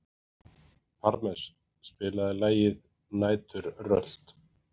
Parmes, spilaðu lagið „Næturrölt“.